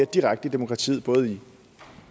direkte i demokratiet både i